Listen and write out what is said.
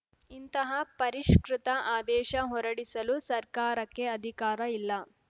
ಇಂತಹ ಪರಿಷ್ಕೃತ ಆದೇಶ ಹೊರಡಿಸಲು ಸರ್ಕಾರಕ್ಕೆ ಅಧಿಕಾರ ಇಲ್ಲ